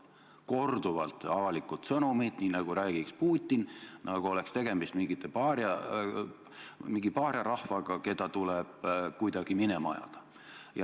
Korduvalt on kostnud sellised avalikud sõnumid, nagu räägiks Putin, nagu oleks tegemist mingi paariarahvaga, keda tuleb kuidagi minema ajada.